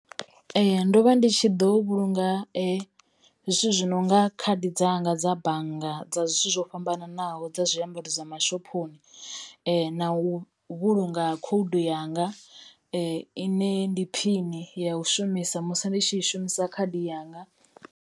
Ndo vha ndi tshi ḓo vhulunga zwithu zwi nonga khadi dzanga dza bannga dza zwithu zwo fhambananaho dza zwiambaro dza mashophoni na u vhulunga khoudu yanga i ne ndi phini ya u shumisa musi ndi tshi shumisa khadi yanga.